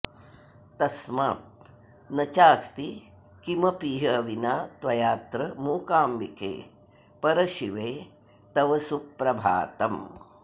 तस्मान्न चास्ति किमपीह विना त्वयात्र मूकाम्बिके परशिवे तव सुप्रभातम्